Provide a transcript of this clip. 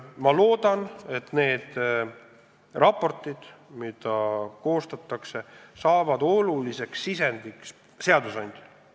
Ma loodan, et need raportid, mida praegu koostatakse, saavad oluliseks sisendiks seadusandajale.